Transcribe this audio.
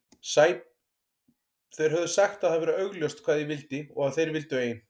Þeir höfðu sagt að það væri augljóst hvað ég vildi og að þeir vildu ein